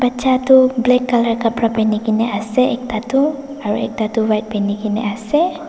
batcha tu black colour kapara pehane kina ase ekta tu aru ekta tu white phene kina ase.